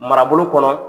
Marabolo kɔnɔ